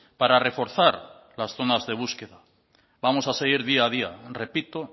para reforzar las zonas de búsqueda vamos a seguir día a día repito